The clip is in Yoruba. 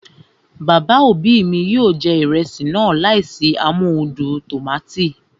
Bàbá òbí mi yóò jẹ ìrẹsì náà láìsí amóhudùn tòmátò